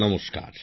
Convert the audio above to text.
নমস্কার